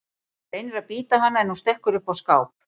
Hann reynir að bíta hana en hún stekkur upp á skáp.